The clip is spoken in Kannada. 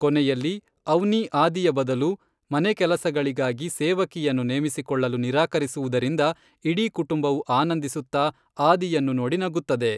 ಕೊನೆಯಲ್ಲಿ, ಅವ್ನಿ ಆದಿಯ ಬದಲು ಮನೆಕೆಲಸಗಳಿಗಾಗಿ ಸೇವಕಿಯನ್ನು ನೇಮಿಸಿಕೊಳ್ಳಲು ನಿರಾಕರಿಸುವುದರಿಂದ ಇಡೀ ಕುಟುಂಬವು ಆನಂದಿಸುತ್ತಾ ಆದಿಯನ್ನು ನೋಡಿ ನಗುತ್ತದೆ.